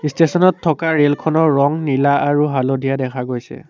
Station ত থকা ৰেলখনৰ ৰং নীলা আৰু হালধীয়া দেখা গৈছে।